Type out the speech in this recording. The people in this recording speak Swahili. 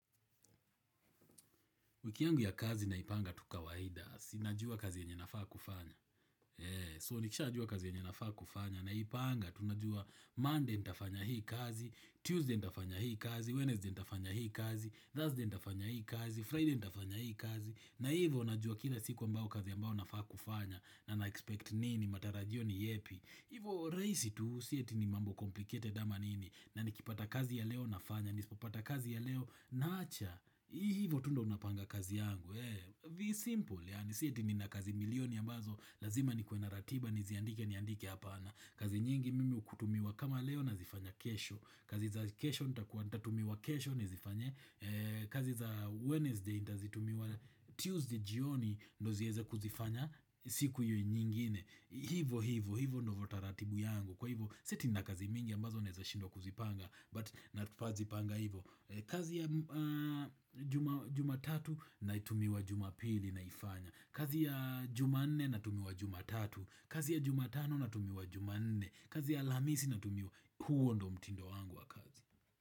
Wiki yangu ya kazi naipanga tu kawaida si. Najua kazi yenye nafaa kufanya. So, nikishajua kazi yenye nafaa kufanya. Naipanga, tunajua Monday nitafanya hii kazi, Tuesday nitafanya hii kazi, Wednesday nitafanya hii kazi, Thursday nitafanya hii kazi, Friday nitafanya hii kazi. Na hivo, najua kila siku ambao kazi ambao nafaa kufanya. Na na-expect nini, matarajio ni yepi. Hivo rahisi tu si eti ni mambo complicated ama nini na nikipata kazi ya leo nafanya na nisipopata kazi ya leo naacha Hii hivo tu ndo unapanga kazi yangu Be simple yaani si eti ni na kazi milioni ya nazo Lazima nikuwe na ratiba niziandike niandike hapana kazi nyingi mimi hutumiwa kama leo nazifanya kesho kazi za kesho nitakua natumiwa kesho nizifanye kazi za Wednesday nitazitumiwa Tuesday jioni ndo zieze kuzifanya siku hiyo nyingine Hivo hivo hivo ndivo taratibu yangu Kwa hivo si eti na kazi mingi ambazo naeza shindwa kuzipanga But na tupazipanga hivo kazi ya jumatatu na tumiwa jumapili naifanya kazi ya jumanne na tumiwa jumatatu kazi ya jumatano na tumiwa jumanne kazi ya alhamisi na tumiwa huo ndo mtindo wangu wa kazi.